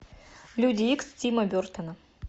люди икс тима бертона